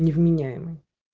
невменяемый